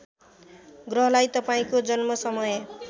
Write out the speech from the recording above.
ग्रहलाई तपाईँको जन्मसमय